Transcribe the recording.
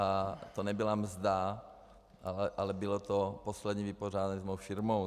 A to nebyla mzda, ale bylo to poslední vypořádání s mou firmou.